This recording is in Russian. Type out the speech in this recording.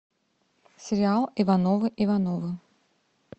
сериал ивановы ивановы